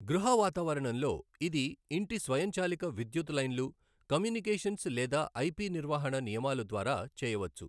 గృహ వాతావరణంలో, ఇది ఇంటి స్వయంచాలిక విధ్యుత్ లైన్లు కమ్యూనికేషన్స్ లేదా ఐపి నిర్వహణ నియమాలు ద్వారా చేయవచ్చు.